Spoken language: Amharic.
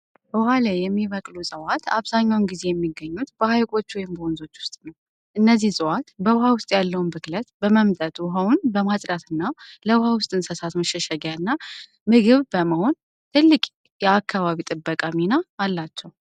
ውሃ ላይ የሚበቅሉ ዕፅዋት አብዛኛውን ጊዜ የሚገኙት በሐይቆች ወይም በወንዞች ውስጥ ነው። እነዚህ ዕፅዋት በውሃ ውስጥ ያለውን ብክለት በመምጠጥ ውኃውን በማጽዳትና ለውሃ ውስጥ እንስሳት መሸሸጊያና ምግብ በመሆን ትልቅ የአካባቢ ጥበቃ ሚና አላቸው።